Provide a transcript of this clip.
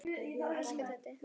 Elsku Teddi.